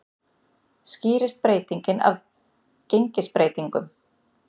Skýrist breytingin af gengisbreytingum